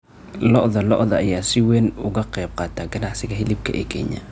Lo'da lo'da ayaa si weyn uga qaybqaata ganacsiga hilibka ee Kenya.